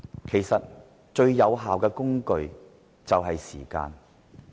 其實，最有效的反"拉布"工具就是時間。